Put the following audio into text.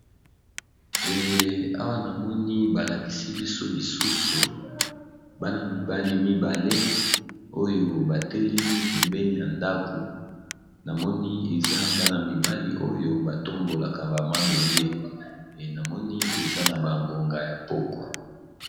Awa namoni balakisi biso lisusu Bana mibale mibale oyo batelemi pembeni ya ndako namoni eza Bana mibale batombolaka ba mabende namoni eza na ngonga ya pokwa.